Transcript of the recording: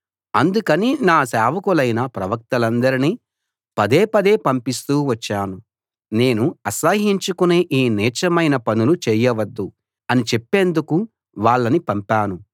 అందుకని నేను నా సేవకులైన ప్రవక్తలందర్నీ పదే పదే పంపిస్తూ వచ్చాను నేను అసహ్యించుకునే ఈ నీచమైన పనులు చేయవద్దు అని చెప్పేందుకు వాళ్ళని పంపాను